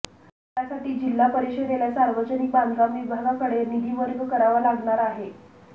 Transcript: त्यासाठी जिल्हा परिषदेला सार्वजनिक बांधकाम विभागाकडे निधी वर्ग करावा लागणार आहे